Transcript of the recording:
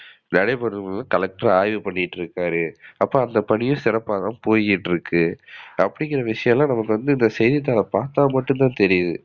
நடைபெறத collector ஆய்வு பண்ணிட்டு இருக்குறாரு. அப்ப அந்த பணியும் சிறப்பா தான் போயிட்டு இருக்கு. அப்டிங்கிற விஷயம்லாம் நமக்கு வந்து இந்த செய்தித்தாள பாத்தாதான் தெரியிது